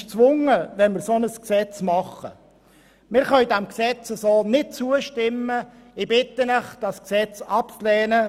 Wenn wir ein solches Gesetz machen, ist der Kanton dazu gezwungen.